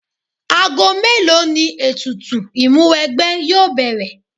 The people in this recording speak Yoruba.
Ago mélòó ni ètùtù Ìmúwẹgbẹ́ yóò bẹ̀rẹ̀?